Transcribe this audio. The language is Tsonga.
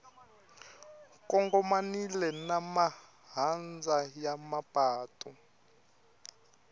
kongomanile na mahandza ya mapatu